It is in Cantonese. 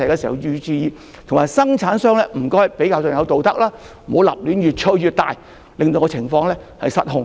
同時，生產商也要符合道德，不要過於吹捧產品，令情況失控。